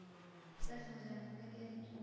બસ મજામાં. તમે કેમ છો?